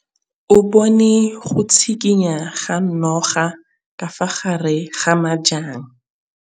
O bone go tshikinya ga noga ka fa gare ga majang.